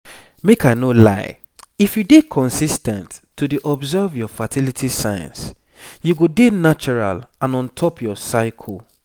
make i no lie if you dey consis ten t to dey observe your fertility signs you go dey natural and on top your cycle.